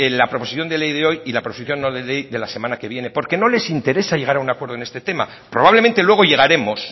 la proposición de ley de hoy y la proposición no de ley de la semana que viene porque no les interesa llegar a un acuerdo en este tema probablemente luego llegaremos